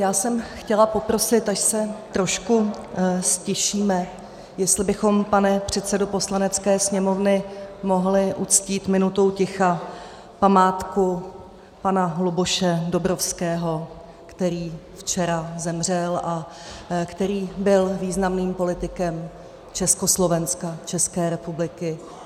Já jsem chtěla poprosit, až se trošku ztišíme, jestli bychom, pane předsedo Poslanecké sněmovny, mohli uctít minutou ticha památku pana Luboše Dobrovského, který včera zemřel a který byl významným politikem Československa, České republiky.